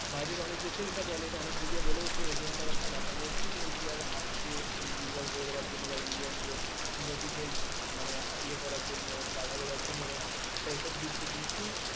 বাইরে অনেক দেশে বলে মিডিয়া ও বলে agenda একটা ব্যাপার রয়েছে যে india র হাব কে বা indian যে technology কে মানে ইয়ে করার জন্য বাঁধা দেয়ার জন্য একটা affect দিচ্ছে কিন্তু